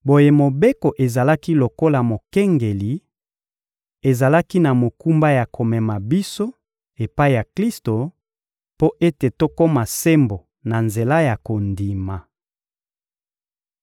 Boye Mobeko ezalaki lokola mokengeli, ezalaki na mokumba ya komema biso epai ya Klisto mpo ete tokoma sembo na nzela ya kondima.